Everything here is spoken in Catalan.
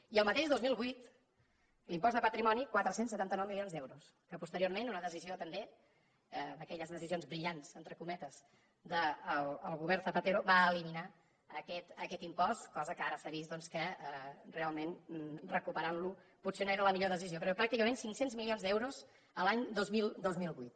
i el mateix dos mil vuit amb l’impost de patrimoni quatre cents i setanta nou milions d’euros que posteriorment en una decisió també d’aquelles decisions brillants entre cometes del govern zapatero va eliminar aquest impost cosa que ara s’ha vist doncs que realment recuperant lo potser no era la millor decisió però pràcticament cinc cents milions d’euros l’any dos mil vuit